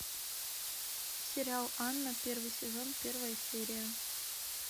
сериал анна первый сезон первая серия